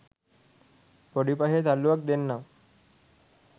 පොඩි පහේ තල්ලුවක් දෙන්නම්